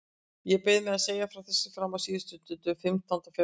Ég beið með að segja frá þessu fram á síðustu stund, fimmtánda febrúar.